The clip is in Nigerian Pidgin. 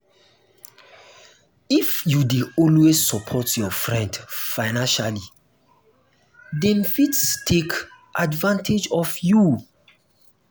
if you dey always support your friend financially them fit take advantage of you.